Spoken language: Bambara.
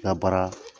N ka baara